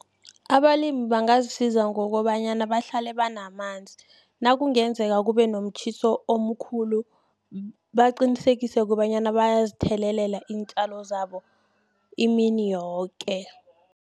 Abalimi bangazisiza ngokobanyana, bahlale banamanzi. Nakungenzeka kubenomtjhiso omkhulu, baqinisekise kobanyana, bayazithelelela iintjalo zabo imini yoke.